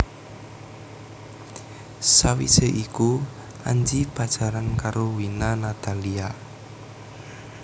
Sawisé iku Anji pacaran karo Wina Natalia